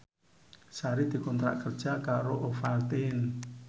Sari dikontrak kerja karo Ovaltine